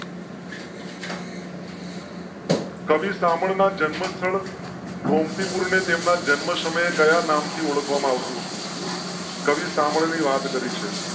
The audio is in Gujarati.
કવિ સામ ના જન્મસ્થળ ગોમતીપુર ને તેમના જન્મ સમયે કયા નામથી ઓળખવા માં આવતું હતું. કવિ સામે વાત કરી છે